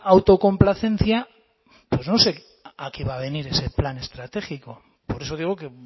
autocomplacencia pues no sé a qué va a venir ese plan estratégico por eso digo que